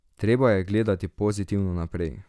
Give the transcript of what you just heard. Treba je gledati pozitivno naprej.